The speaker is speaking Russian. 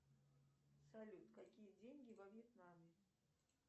салют какие деньги во вьетнаме